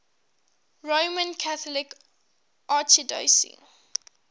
roman catholic archdiocese